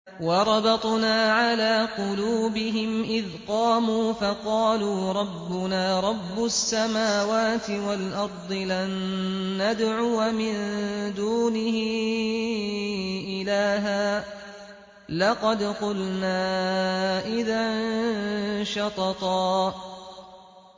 وَرَبَطْنَا عَلَىٰ قُلُوبِهِمْ إِذْ قَامُوا فَقَالُوا رَبُّنَا رَبُّ السَّمَاوَاتِ وَالْأَرْضِ لَن نَّدْعُوَ مِن دُونِهِ إِلَٰهًا ۖ لَّقَدْ قُلْنَا إِذًا شَطَطًا